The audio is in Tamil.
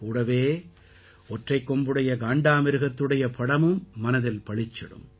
கூடவே ஒற்றைக் கொம்புடைய காண்டாமிருகத்துடைய படமும் மனதில் பளிச்சிடும்